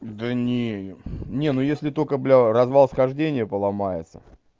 да не не ну если только бля развал-схождение поломается